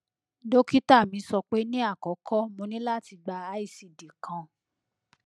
dokita mi sọpe ni akọkọ mo ni lati gba icd kan